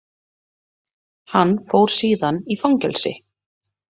Hann fór síðan í fangelsi.